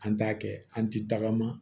An t'a kɛ an ti tagama